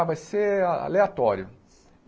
Ah, vai ser aleatório.